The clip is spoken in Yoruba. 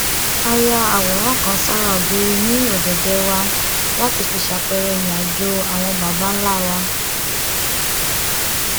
a ya àwòrán kan sára ògiri ní ọdẹdẹ wa láti fi ṣàpẹẹrẹ ìrìnàjò àwọn baba ńlá wa